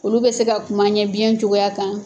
Olu bɛ se ka kuma an ɲɛ biɲɛ cogoya kan.